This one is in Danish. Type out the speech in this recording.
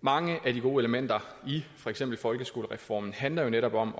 mange af de gode elementer i for eksempel folkeskolereformen handler jo netop om